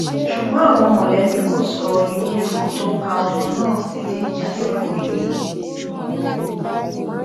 ṣùgbọn àwọn mọlẹbí kò sọ irú ikú tó pa ọmọ náà títí di àsìkò yìí